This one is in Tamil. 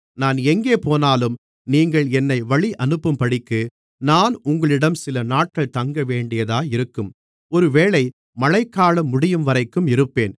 நான் எங்கே போனாலும் நீங்கள் என்னை வழியனுப்பும்படிக்கு நான் உங்களிடம் சிலநாட்கள் தங்கவேண்டியதாயிருக்கும் ஒருவேளை மழைகாலம் முடியும்வரைக்கும் இருப்பேன்